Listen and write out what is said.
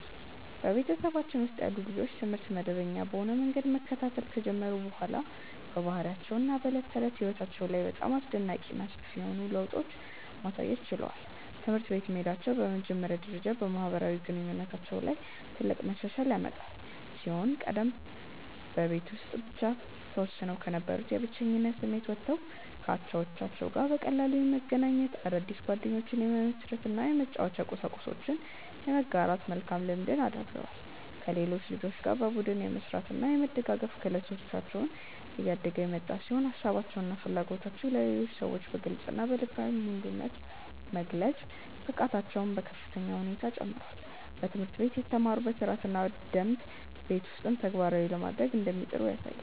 በቤተሰባችን ውስጥ ያሉ ልጆች ትምህርት መደበኛ በሆነ መንገድ መከታተል ከጀመሩ በኋላ በባህሪያቸው እና በዕለት ተዕለት ሕይወታቸው ላይ በጣም አስደናቂ እና ሰፊ የሆኑ ለውጦችን ማሳየት ችለዋል። ትምህርት ቤት መሄዳቸው በመጀመሪያ ደረጃ በማህበራዊ ግንኙነታቸው ላይ ትልቅ መሻሻል ያመጣ ሲሆን ከዚህ ቀደም በቤት ውስጥ ብቻ ተወስነው ከነበሩበት የብቸኝነት ስሜት ወጥተው ከአቻዎቻቸው ጋር በቀላሉ የመገናኘት፣ አዳዲስ ጓደኞችን የመመስረት እና የመጫወቻ ቁሳቁሶችን የመጋራት መልካም ልምድን አዳብረዋል። ከሌሎች ልጆች ጋር በቡድን የመስራት እና የመደጋገፍ ክህሎታቸው እያደገ የመጣ ሲሆን ሀሳባቸውን እና ፍላጎቶቻቸውን ለሌሎች ሰዎች በግልፅ እና በልበ ሙሉነት የመግለጽ ብቃታቸውም በከፍተኛ ሁኔታ ጨምሯል። በትምህርት ቤት የተማሩትን ሥርዓትና ደንብ ቤት ውስጥም ተግባራዊ ለማድረግ እንደሚጥሩ ያሳያል።